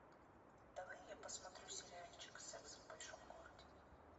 давай я посмотрю сериальчик секс в большом городе